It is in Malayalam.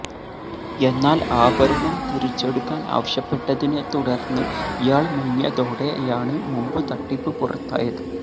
എന്നാല് ആഭരണം തിരിച്ചെടുക്കാന് ആവശ്യപ്പെട്ടതിനെ തുടര്ന്ന് ഇയാള് മുങ്ങിയതോടെയാണ് മുമ്പ് തട്ടിപ്പ് പുറത്തായത്